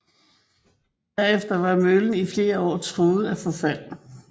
Derefter var møllen i flere år truet af forfald